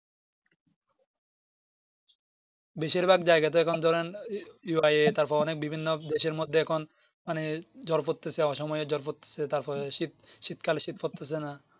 বেশির ভাগ জায়গাতে এরকম ধরেন UIA এরকম বিভিন্ন দেশের মধ্যে এখন মানে জল পড়তেছে অসময়ে জল পড়তেছে তারপরে শীত শীত কালে শীত পড়তেছে না